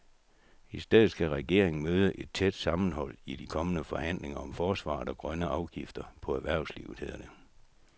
I stedet skal regeringen møde et tæt sammenhold i de kommende forhandlinger om forsvaret og grønne afgifter på erhvervslivet, hedder det.